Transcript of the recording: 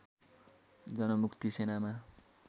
जनमुक्ति सेनामा